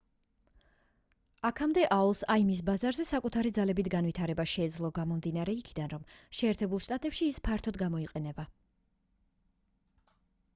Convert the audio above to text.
აქამდე aol-ს im-ის ბაზარზე საკუთარი ძალებით განვითარება შეეძლო გამომდინარე იქიდან რომ შეერთებულ შტატებში ის ფართოდ გამოიყენება